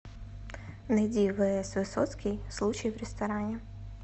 найди вс высоцкий случай в ресторане